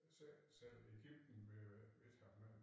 Selv selv Egypten ved jo ikke hvad de skal gøre